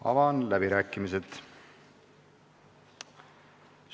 Avan läbirääkimised.